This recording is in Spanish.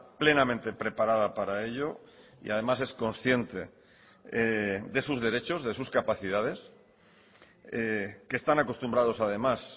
plenamente preparada para ello y además es consciente de sus derechos de sus capacidades que están acostumbrados además